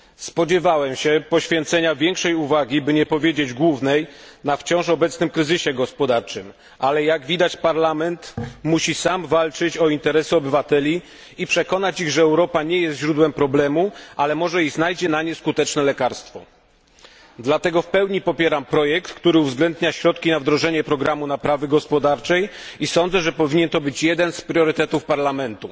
Spodziewałem się poświęcenia większej uwagi, by nie powiedzieć głównej, wciąż obecnemu kryzysowi gospodarczemu, ale jak widać Parlament musi sam walczyć o interesy obywateli i przekonać ich, że Europa nie jest źródłem problemów, ale może i znajdzie na nie skuteczne lekarstwo. Dlatego w pełni popieram projekt, który uwzględnia środki na wdrożenie programu naprawy gospodarczej i sądzę, że powinien to być jeden z priorytetów Parlamentu.